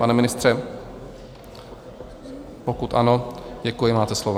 Pane ministře, pokud ano, děkuji, máte slovo.